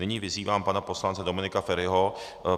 Nyní vyzývám pana poslance Dominika Feriho.